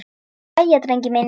Jæja, drengir mínir!